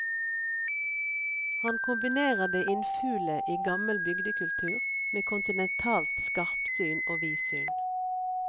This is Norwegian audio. Han kombinerer det innfule i gammel bygdekultur med kontinentalt skarpsyn og vidsyn.